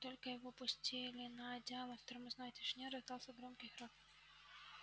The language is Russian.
как только его опустили на одеяло в морозной тишине раздался громкий храп